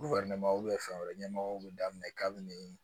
fɛn wɛrɛ ɲɛmɔgɔw bɛ daminɛ kabini